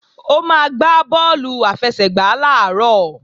Ó máa gbá bọ́ọ̀lù àfẹsẹ̀gbá làárọ̀